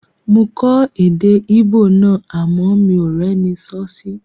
Mo kọ́ èdè Íbò náà àmọ́ mi ò rẹ́ni sọ́ sí